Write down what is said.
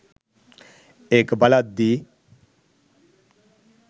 ඒක බලද්දී.